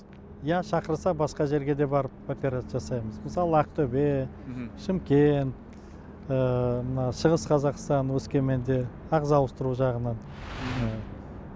иә шақырса басқа жерге де барып операция жасаймыз мысалы ақтөбе мхм шымкент ыыы мына шығыс қазақстан өскеменде ағза ауыстыру жағынан